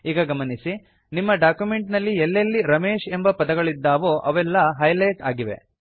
ಈಗ ಗಮನಿಸಿ ನಿಮ್ಮ ಡಾಕ್ಯುಮೆಂಟ್ ನಲ್ಲಿ ಎಲ್ಲೆಲ್ಲಿ ರಮೇಶ್ ಎಂಬ ಪದಗಳಿದ್ದಾವೋ ಅವೆಲ್ಲಾ ಹೈಲೆಟ್ ಆಗಿವೆ